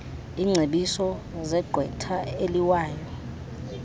iingcebiso zegqwetha eliwayo